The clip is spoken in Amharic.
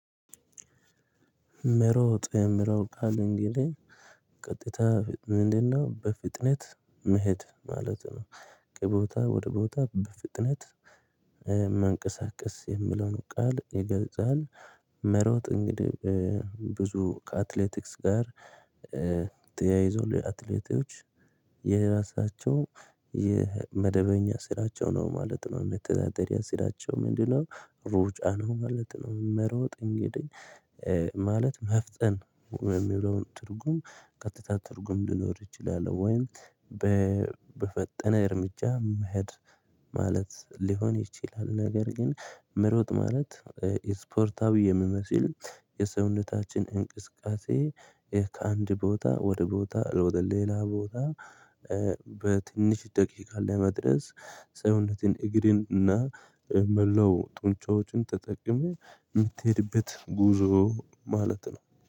መሮጥ የሚለው ቃል እንግዲህ ቀጥታ ምንድነው በፍጥነት መሄድ ማለት ነው። ከቦታ ወደ ቦታ በፍጥነት መንቀሳቀስ የሚለውን ቃል ይገልጻል መሮጥ እንግዲህ ብዙ ከአትሌቲክስ ጋር ተያይዞ ለአትሌቶች የራሳቸው የመደበኛ ስራቸው ነው ማለት ነው። የመተዳደርያ ስራቸው ምንድነው? ሩጫ ነው ማለት ነው። መሮጥ እንግዲህ ማለት መፍጠን የሚለውን ትርጉም ቀጥታ ትርጉም ሊኖር ይችላል ወይም በፈጠነ እርምጃ መሄድ ማለት ሊሆን ይችላል። ነገር ግን መሮጥ ማለት ስፖርታዊ የሚመስል የሰውነታችን እንቅስቃሴ ከአንድ ቦታ ወደ ቦታ ወደ ሌላ ቦታ በትንሽ ደቂቃ ለመድረስ ሰውነትን እግርን እና መላው ጡንቻዎችን ተጠቅመህ ምትሄድበት ጉዞ ማለት ነው።